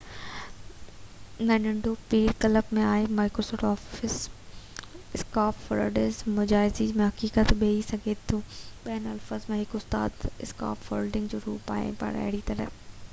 scarf فولڊس مجازي ۽ حقيقي ٻئي ٿي سگهن ٿيون ٻين لفظن ۾ هڪ استاد اسڪاف فولڊ جو روپ آهي پر اهڙي طرح microsoft office ۾ ننڍو پيپر ڪلپ مين آهي